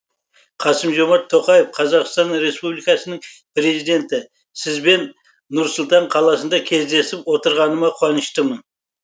қасым жомарт тоқаев қазақстан республикасының президенті сізбен нұр сұлтан қаласында кездесіп отырғаныма қуаныштымын